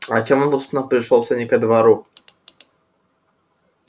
а чём он собственно пришёлся не ко двору